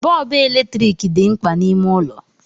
Bọọbụ eletrik dị mkpa n'ime ụlọ